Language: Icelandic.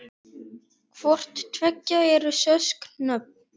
Hvort tveggja eru skosk nöfn.